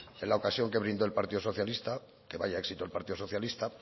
la ocasión que brindó el partido socialista que vaya éxito el partido socialista